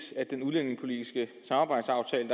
set at den udlændingepolitiske samarbejdsaftale